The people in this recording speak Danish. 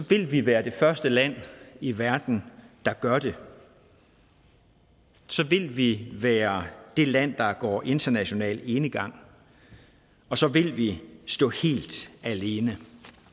vil vi være det første land i verden der gør det så vil vi være det land der går international enegang og så vil vi stå helt alene